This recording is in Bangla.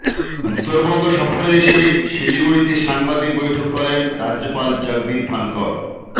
উত্তরবঙ্গ সফরে এসে শিলিগুড়িতে সাংবাদিক বৈঠকে রাজ্যপাল করেন জগদীপ ধনকড়